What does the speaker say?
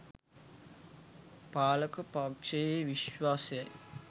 පාලක පක්ෂයේ විශ්වාසයයි.